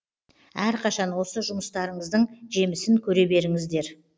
әрқашан осы жұмыстарыңыздың жемісін көре беріңіздер